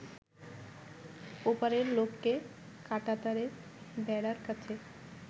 ওপারের লোককে কাঁটাতারের বেড়ার কাছে